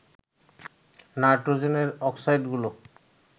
নাইট্রোজেনের অক্সাইডগুলো